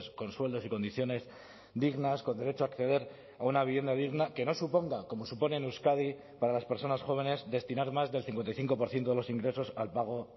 con sueldos y condiciones dignas con derecho a acceder a una vivienda digna que no suponga como supone en euskadi para las personas jóvenes destinar más del cincuenta y cinco por ciento de los ingresos al pago